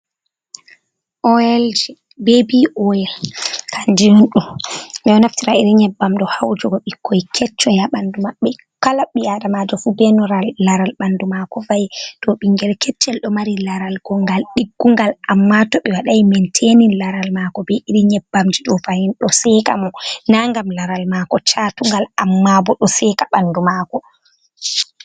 Oil, babi oil kanjiyundum bedo naftira iri nyebbam do ha wujugo bikkoi keccoya bandu mabbe, kala bi adamajo fu belaral laral bandu mako, fai do bingir keccel do mari laral gongal diggungal, amma to be wadai mentenin laral mako be iri nyebbam jido fahin do seka, mo na ngam laral mako chatugal amma bo do seka bandu mako.